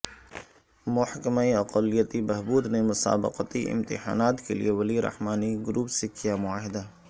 محکمہ اقلیتی بہبود نے مسابقتی امتحانات کے لئے ولی رحمانی گروپ سے کیا معاہدہ